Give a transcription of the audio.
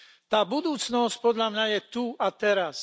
Tá budúcnosť podľa mňa je tu a teraz.